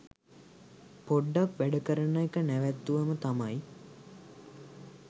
පොඩ්ඩක් වැඩ කරන එක නැවත්තුවම තමයි.